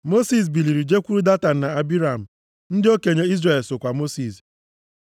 Mosis biliri jekwuru Datan na Abiram, ndị okenye Izrel sokwa Mosis.